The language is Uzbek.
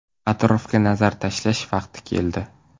Atrofga nazar tashlash vaqti keldi.